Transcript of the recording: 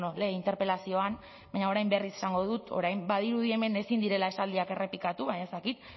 lehen interpelazioan baina orain berriz esango dut orain badirudi hemen ezin direla esaldiak errepikatu baina ez dakit